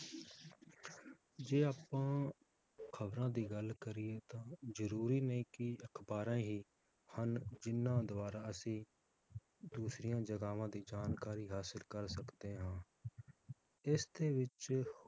ਜੇ ਆਪਾਂ ਖਬਰਾਂ ਦੀ ਗੱਲ ਕਰੀਏ ਤਾਂ ਜਰੂਰੀ ਨਹੀਂ ਕਿ ਅਖਬਾਰਾਂ ਹੀ ਹਨ ਜਿਹਨਾਂ ਦਵਾਰਾ ਅਸੀਂ ਦੂਸਰੀਆਂ ਜਗਾਵਾਂ ਦੀ ਜਾਣਕਾਰੀ ਹਾਸਿਲ ਕਰ ਸਕਦੇ ਹਾਂ ਇਸ ਦੇ ਵਿਚ